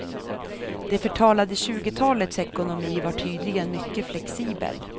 Det förtalade tjugotalets ekonomi var tydligen mycket flexibel.